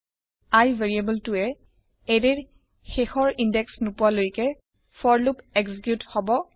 i ভেৰিয়েবলটোৱে এৰেয়ৰ শেষ ইন্দেশ নোপোৱালৈকে ফৰ লুপ এক্সিকিউত হব